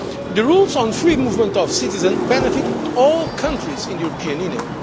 The rules on free movement of citizens benefit all countries in the European Union.